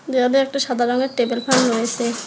দেওয়াল একটা সাদা রংয়ের টেবিল ফ্যান রয়েসে।